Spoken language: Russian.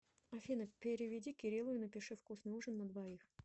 афина переведи кириллу и напиши вкусный ужин на двоих